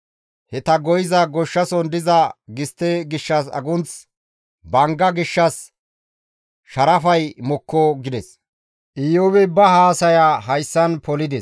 he ta goyiza goshshason diza gistte gishshas agunththi, bangga gishshas sharafay mokko» gides. Iyoobi ba haasaya hayssan polides.